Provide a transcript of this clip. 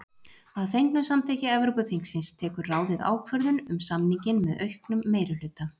Að fengnu samþykki Evrópuþingsins tekur ráðið ákvörðun um samninginn með auknum meirihluta.